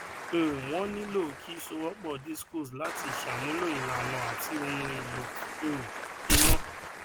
um wọn nilo ki sowopo discos lati samulo ilana ati ohun elo um ina